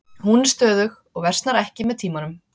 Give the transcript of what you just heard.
Hún er stöðug og versnar ekki með tímanum.